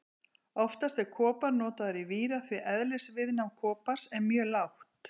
Oftast er kopar notaður í víra því eðlisviðnám kopars er mjög lágt.